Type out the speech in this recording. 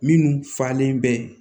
Minnu falen bɛ